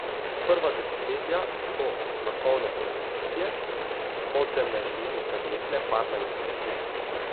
Prva desetletja so vlakovne kompozicije podzemne železnice vlekle parne lokomotive.